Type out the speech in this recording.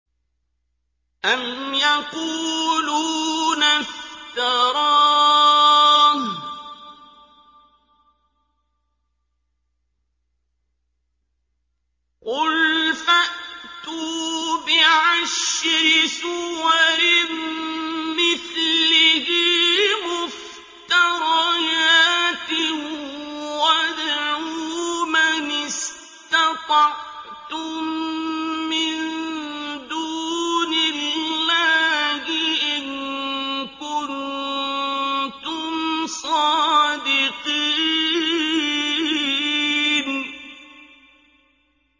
أَمْ يَقُولُونَ افْتَرَاهُ ۖ قُلْ فَأْتُوا بِعَشْرِ سُوَرٍ مِّثْلِهِ مُفْتَرَيَاتٍ وَادْعُوا مَنِ اسْتَطَعْتُم مِّن دُونِ اللَّهِ إِن كُنتُمْ صَادِقِينَ